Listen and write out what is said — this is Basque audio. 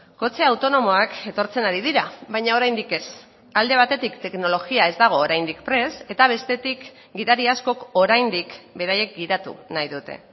kotxe autonomoak etortzen ari dira baina oraindik ez alde batetik teknologia ez dago oraindik prest eta bestetik gidari askok oraindik beraiek gidatu nahi dute